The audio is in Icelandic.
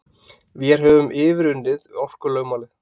Vér höfum yfirunnið orkulögmálið.